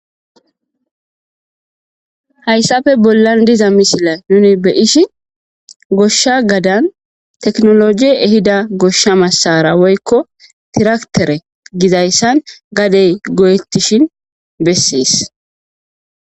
Hayssafe bollan diza misila nuni beyishin goshsha gadan teknolojie ehida goshsha massara woykko tiraktere gizayssan gadey go7ettishin bessees